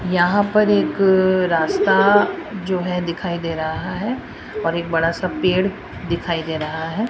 यहां पर एक अ रास्ता जो है दिखाई दे रहा है और एक बड़ा सा पेड़ दिखाई दे रहा है।